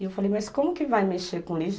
E eu falei, mas como que vai mexer com lixo?